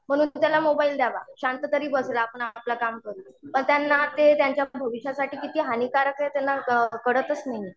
म्हणून त्याला मोबाईल द्यावा. शांत तरी बसेल आपण आपलं काम करू. पण त्यांना ते त्यांच्या भविष्यासाठी किती हानिकारक आहे त्यांना कळतच नाहीये.